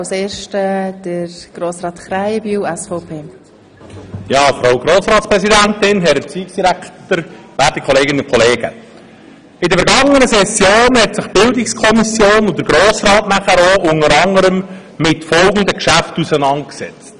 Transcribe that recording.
In der vergangenen Session haben sich die BiK und anschliessend auch der Grosse Rat unter anderem mit folgenden Geschäften auseinandergesetzt: